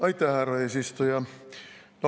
Aitäh, härra eesistuja!